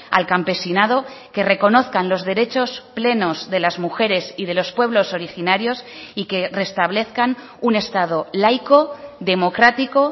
al campesinado que reconozcan los derechos plenos de las mujeres y de los pueblos originarios y que restablezcan un estado laico democrático